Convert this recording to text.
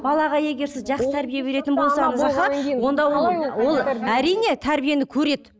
балаға егер сіз жақсы тәрбие беретін болсаңыз аха онда ол ол әрине тәрбиені көреді